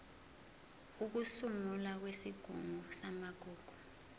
ukusungulwa kwesigungu samagugu